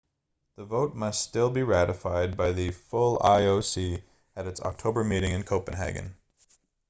the vote must still be ratified by the full ioc at it's october meeting in copenhagen